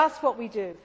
was doing. That is